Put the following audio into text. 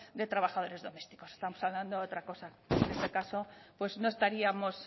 de trabajadores domésticos estamos hablando de otra cosa en este caso pues no estaríamos